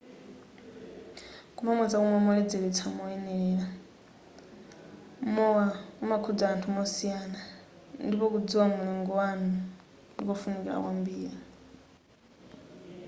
kumamwa zakumwa zoledzeletsa moyenelera mowa umakhudza anthu mosiyana ndipo kudziwa mulingo wanu ndikofunikira kwambiri